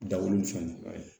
Dawuli ni fɛn nunnu a ye